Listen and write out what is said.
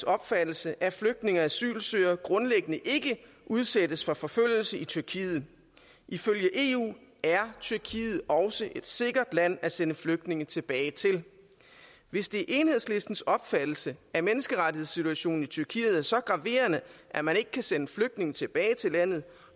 opfattelse at flygtninge og asylsøgere grundlæggende ikke udsættes for forfølgelse i tyrkiet ifølge eu er tyrkiet også et sikkert land at sende flygtninge tilbage til hvis det er enhedslistens opfattelse at menneskerettighedssituationen i tyrkiet er så graverende at man ikke kan sende flygtninge tilbage til landet